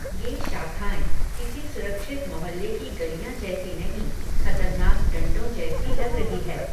ये शाखाएँ, किसी सुरक्षित मोहल्ले की गलियां जैसी नहीं, खतरनाक डंडों जैसी लग रही है